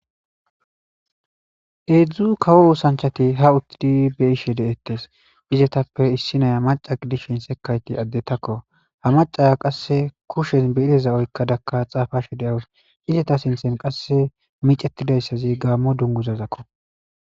Hedzdzu kawo oosanchati utidi hab bei'she detes izataope issina maca gidishin haratika adetako izaka ba kushe bire oykada xafashe dawus izata sintan michetiday gamo dunguzakko